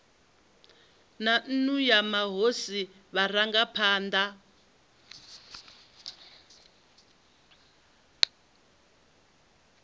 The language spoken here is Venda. na nnu ya mahosi vharangaphana